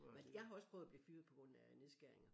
Men jeg har også prøvet at blive fyret på grund af nedskæringer